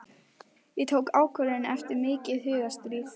Ég tók ákvörðun eftir mikið hugarstríð.